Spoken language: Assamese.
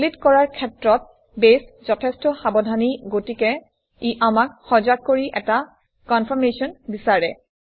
ডিলিট কৰাৰ ক্ষেত্ৰত বেছ যথেষ্ট সাৱধানী গতিকে ই আমাক সজাগ কৰি এটা কনফাৰমেশ্যন বিচাৰে